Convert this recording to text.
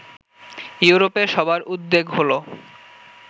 ইউরোপে সবার উদ্বেগ হলো